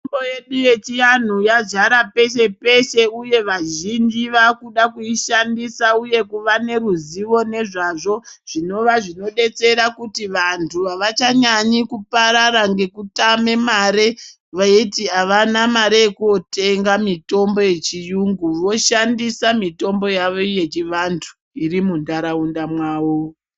Mitombo yedu yechiantu yazara peshe-peshe, uye vazhinji vaakuda kuishandisa uye kuva neruzivo nezvazvo zvinova zvinodetsera kuti vantu avachanyanyi kuparara ngekutame mare veiti avana yekootenga mitombo yechiyungu, voshandisa mitombo yavo yechivantu iri muntaraunda mwavo.